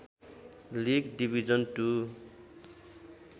league division to